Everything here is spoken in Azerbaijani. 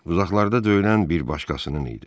Uzaqlarda döyülən bir başqasının idi.